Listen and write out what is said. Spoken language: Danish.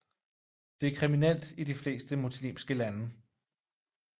Det er kriminelt i de fleste muslimske lande